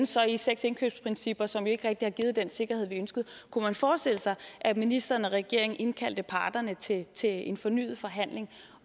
så i seks indkøbsprincipper som ikke rigtig har givet den sikkerhed vi ønskede kunne man forestille sig at ministeren og regeringen indkalde parterne til til en fornyet forhandling